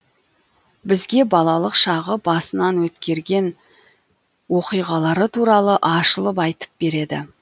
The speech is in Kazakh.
бізге балалық шағы басынан өткерген оқиғалары туралы ашылып айтып береді